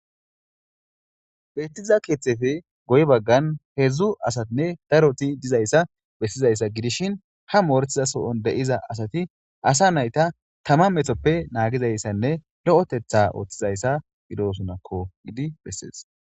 Beettiza keeththefe goy baggan hedzdzu asatinne daroti dizayssa bessizayssa gidishin ha mooretiza so'on de'iza asati asa nayta tama methoppe naagizayssanne lo'etetha ooththizayssa gidosonakko gidi bessees.